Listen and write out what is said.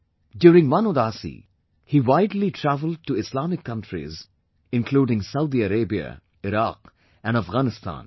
During one Udaasi, he widely travelled to Islamic countries including Saudi Arabia, Iraq and Afghanistan